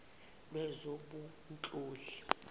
lwezobunhloli